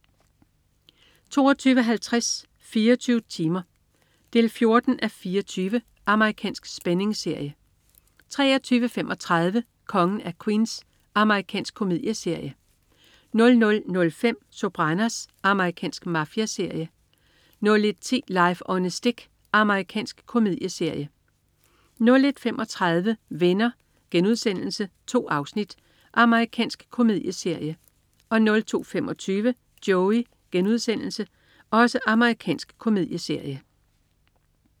22.50 24 timer. 14:24 Amerikansk spændingsserie 23.35 Kongen af Queens. Amerikansk komedieserie 00.05 Sopranos. Amerikansk mafiaserie 01.10 Life on a Stick. Amerikansk komedieserie 01.35 Venner.* 2 afsnit. Amerikansk komedieserie 02.25 Joey.* Amerikansk komedieserie